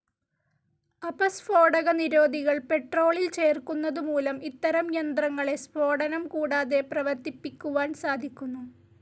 അപസ്ഫോടകനിരോധികൾ പെട്രോളിൽ ചേർക്കുന്നതുമൂലം ഇത്തരം യന്ത്രങ്ങളെ സ്ഫോടനം കൂടാതെ പ്രവർത്തിപ്പിക്കുവാൻ സാധിക്കുന്നു.